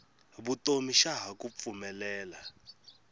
vutomi xa ha ku pfumelela